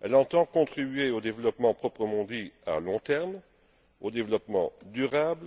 Elle entend contribuer au développement proprement dit à long terme, au développement durable,